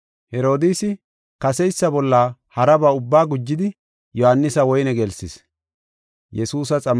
Herodiisi kaseysa bolla haraba ubbaa gujidi Yohaanisa woyne gelsis.